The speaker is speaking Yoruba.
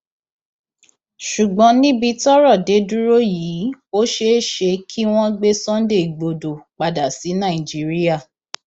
ṣùgbọn níbi tọrọ dé dúró yìí ó ṣeé ṣe kí wọn gbé sunday igbodò padà sí nàìjíríà